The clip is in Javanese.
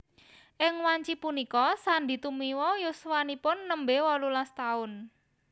Ing wanci punika Sandy Tumiwa yuswanipun nembe wolulas taun